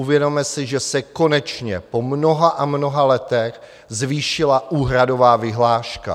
Uvědomme si, že se konečně po mnoha a mnoha letech zvýšila úhradová vyhláška.